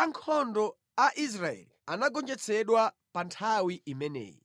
Ankhondo a Israeli anagonjetsedwa pa nthawi imeneyi,